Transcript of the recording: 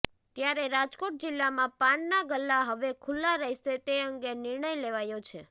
ત્યારે રાજકોટ જિલ્લામાં પાનના ગલ્લા હવે ખુલ્લા રહેશે તે અંગે નિર્ણય લેવાયો છે